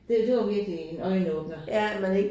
Det det var virkelig en øjenåbner